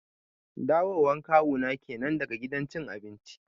Dawo wan Kawu na kenan daga gidan cin abinci